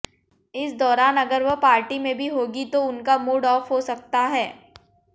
इस दौरान अगर वह पार्टी में भी होंगी तो उनका मूड ऑफ हो सकता है